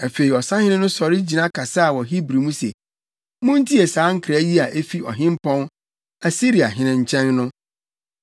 Afei ɔsahene no sɔre gyina kasaa wɔ Hebri mu se, “Muntie saa nkra yi a efi ɔhempɔn, Asiriahene nkyɛn no!